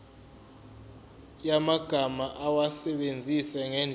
yamagama awasebenzise ngendlela